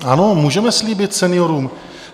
Ano, můžeme slíbit seniorům.